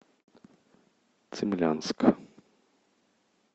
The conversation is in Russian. цимлянск